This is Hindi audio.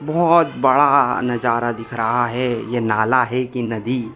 बोहोत बड़ा नजारा दिख रहा है। यह नाला है की नदी।